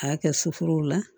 A y'a kɛ suforo la